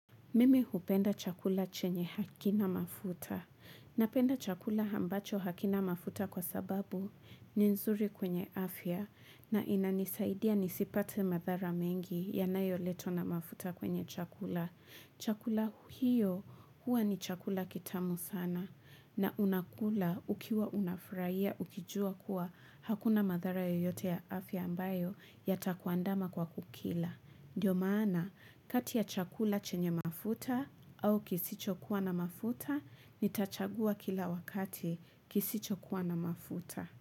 Mimi hupenda chakula chenye hakina mafuta. Napenda chakula ambacho hakina mafuta kwa sababu ni nzuri kwenye afya na inanisaidia nisipate madhara mengi yanayoletwa na mafuta kwenye chakula. Chakula hio huwa ni chakula kitamu sana na unakula ukiwa unafurahia ukijua kuwa hakuna madhara yoyote ya afya ambayo yatakuandama kwa kukila. Ndiyo maana, kati ya chakula chenye mafuta au kisicho kuwa na mafuta, nitachagua kila wakati kisicho kuwa na mafuta.